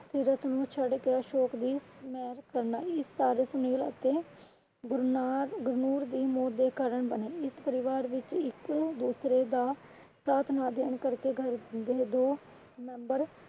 ਸੀਰਤ ਨੂੰ ਛੱਡ ਕੇ ਅਸ਼ੋਕ ਦੀ ਹਿਮਾਇਤ ਕਰਨਾ ਸੁਨੀਲ ਅਤੇ ਗੁਰਨੂਰ ਦੀ ਮੌਤ ਦੇ ਕਾਰਨ ਬਨੇ। ਇਸ ਪਰਿਵਾਰ ਵਿੱਚ ਇਕ ਦੂਸਰੇ ਦਾ ਸਾਥ ਨਾ ਦੇਣ ਕਰ ਕੇ ਘਰ ਦੇ ਮੇਂਬਰ